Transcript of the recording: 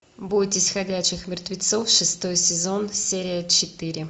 бойтесь ходячих мертвецов шестой сезон серия четыре